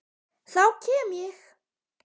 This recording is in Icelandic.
Þá kem ég